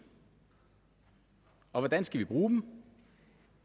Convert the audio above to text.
og hvordan skal vi bruge dem